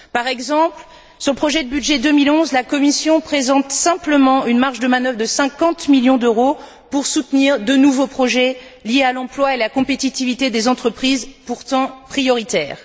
Par exemple, sur le projet de budget 2011, la Commission présente simplement une marge de manœuvre de 50 millions d'euros pour soutenir de nouveaux projets liés à l'emploi et à la compétitivité des entreprises, pourtant prioritaires.